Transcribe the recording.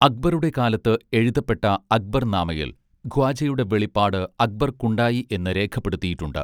അക്ബറുടെ കാലത്ത് എഴുതപ്പെട്ട അക്ബർ നാമയിൽ ഖ്വാജയുടെ വെളിപാട് അക്ബർക്കുണ്ടായി എന്ന് രേഖപ്പെടുത്തിയിട്ടുണ്ട്